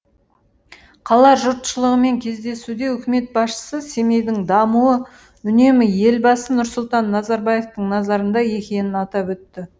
қала жұртшылығымен кездесуде үкімет басшысы семейдің дамуы үнемі елбасы нұрсұлтан назарбаевтың назарында екенін атап өтті